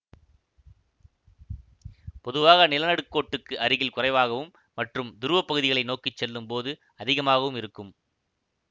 பொதுவாக நிலநடுக்கோட்டுக்கு அருகில் குறைவாகவும் மற்றும் துருவப்பகுதிகளை நோக்கி செல்லும் போது அதிகமாகவும் இருக்கும்